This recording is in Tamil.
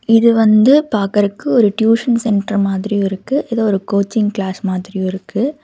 இது வந்து பாக்குறக்கு ஒரு டியூஷன் சென்டர் மாதிரியு இருக்கு ஏதோ ஒரு கோச்சிங் கிளாஸ் மாதிரியு இருக்கு.